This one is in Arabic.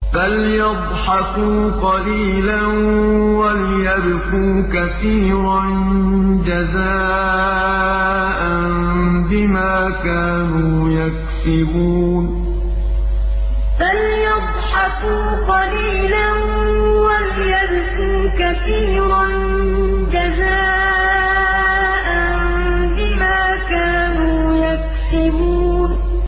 فَلْيَضْحَكُوا قَلِيلًا وَلْيَبْكُوا كَثِيرًا جَزَاءً بِمَا كَانُوا يَكْسِبُونَ فَلْيَضْحَكُوا قَلِيلًا وَلْيَبْكُوا كَثِيرًا جَزَاءً بِمَا كَانُوا يَكْسِبُونَ